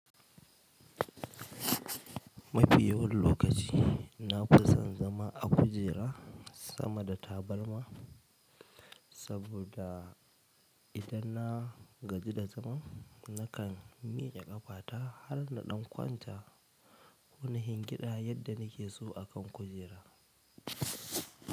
Mafi yawan lokaci nafison zama a kujera sama da tabarma saboda idan na gaji da zama, nakan mike ƙafata har na ɗan kwanta wani hingida yadda nake so a kan kujera.